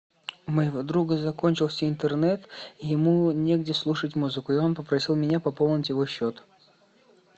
у моего друга закончился интернет и ему негде слушать музыку и он попросил меня пополнить его счет